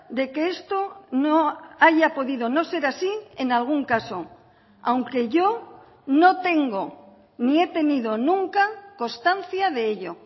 de que esto no haya podido no ser así en algún caso aunque yo no tengo ni he tenido nunca constancia de ello